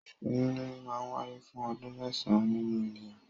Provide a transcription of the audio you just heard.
Oyún níní máa ń wáyé fún ọdún mẹ́sàn-án nínu ènìyàn.